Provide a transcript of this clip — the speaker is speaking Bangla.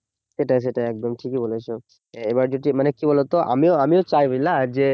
সেটাই সেটাই একদম ঠিকই বলেছো এবার যদি মানে কি বলতো আমিও আমিও চাই বুঝলা যে